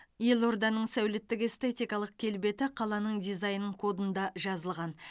елорданың сәулеттік эстетикалық келбеті қаланың дизайн кодында жазылған